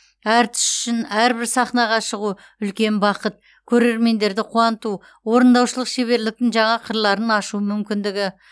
әртіс үшін әрбір сахнаға шығу үлкен бақыт көрермендерді қуанту орындаушылық шеберліктің жаңа қырларын ашу мүмкіндігі